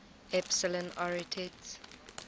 epsilon arietids